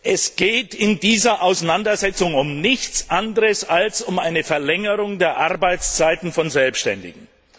Es geht in dieser Auseinandersetzung um nichts anderes als um eine Verlängerung der Arbeitszeiten von Selbständigen.